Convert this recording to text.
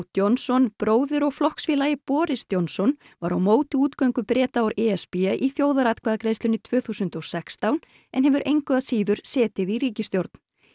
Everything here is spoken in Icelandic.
Johnson bróðir og flokksfélagi Boris Johnson var á móti útgöngu Breta úr e s b í þjóðaratkvæðagreiðslunni tvö þúsund og sextán en hefur engu að síður setið í ríkisstjórn